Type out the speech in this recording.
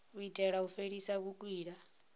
u itela u fhelisa vhukwila